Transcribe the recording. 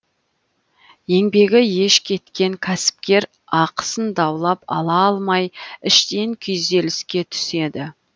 еңбегі еш кеткен кәсіпкер ақысын даулап ала алмай іштен күйзеліске түседі